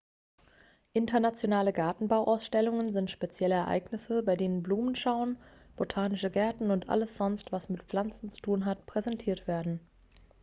internationale gartenbauausstellungen sind spezielle ereignisse bei denen blumenschauen botanische gärten und alles sonst was mit pflanzen zu tun hat präsentiert werden